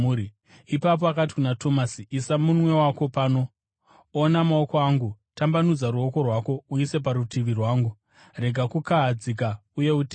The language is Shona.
Ipapo akati kuna Tomasi, “Isa munwe wako pano; ona maoko angu. Tambanudza ruoko rwako uise parutivi rwangu. Rega kukahadzika uye utende.”